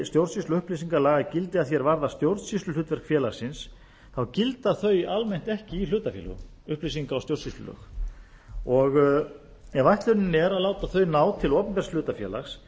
og upplýsingalaga gildi að því er varðar stjórnsýsluhlutverk félagsins þá gilda þau almennt ekki í hlutafélögum upplýsinga og stjórnsýslulög ef ætlunin er að láta þau ná til opinbers hlutafélags